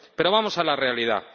Pero vamos a la realidad.